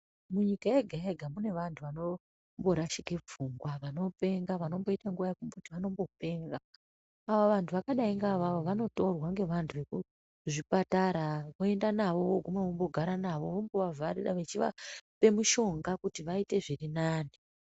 Munyika yega yega munevantu vanomborashike pfungwa vanopenga vanomboita nguwa yekuti vanombopenga avo vanhu zvakadai ngeavavo vanotorwa ngevantu vekuzvipatara voenda navo voguma vogara navo vombovavharira vechivaoe mushonga kuti vaite zvirinani.